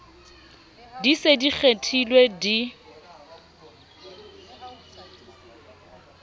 di se di kgethilwe di